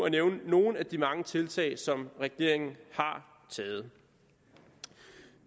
nævne nogle af de mange tiltag som regeringen har taget